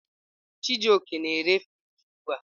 Chijioke na-ere friji ugbu a.